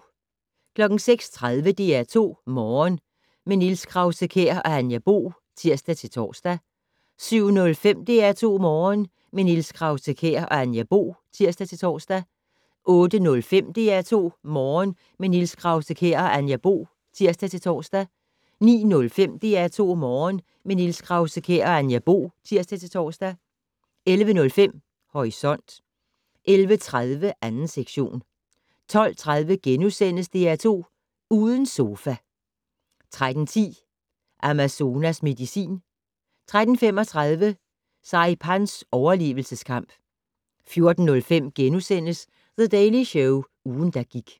06:30: DR2 Morgen - med Niels Krause-Kjær og Anja Bo (tir-tor) 07:05: DR2 Morgen - med Niels Krause-Kjær og Anja Bo (tir-tor) 08:05: DR2 Morgen - med Niels Krause-Kjær og Anja Bo (tir-tor) 09:05: DR2 Morgen - med Niels Krause-Kjær og Anja Bo (tir-tor) 11:05: Horisont 11:30: 2. sektion 12:30: DR2 Uden sofa * 13:10: Amazonas medicin 13:35: Saipans overlevelseskamp 14:05: The Daily Show - ugen, der gik *